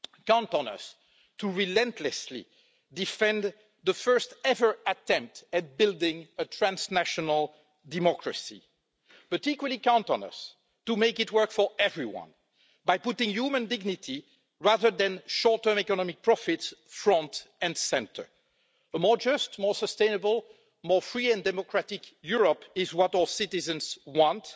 Count on us to relentlessly defend the first ever attempt at building a transnational democracy. But equally, count on us to make it work for everyone, by putting human dignity rather than short term economic profits at the front and in the centre. A more just, more sustainable, more free and democratic Europe is what our citizens want.